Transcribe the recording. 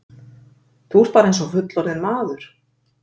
Þú ert bara eins og fullorðinn maður!